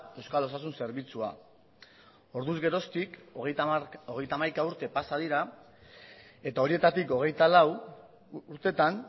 euskal osasun zerbitzua orduz geroztik hogeita hamaika urte pasa dira eta horietatik hogeita lau urtetan